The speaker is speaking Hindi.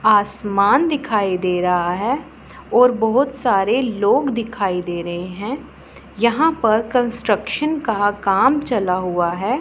आसमान दिखाई दे रहा है और बहुत सारे लोग दिखाई दे रहे हैं यहां पर कंस्ट्रक्शन का काम चला हुआ है।